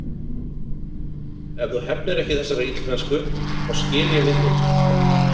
Ef þú hefnir ekki þessarar illmennsku, þá skil ég við þig.